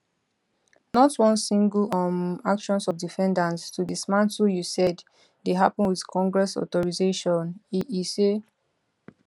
not one single um actions of defendants to dismantle usaid dey happun wit congress authorization e e say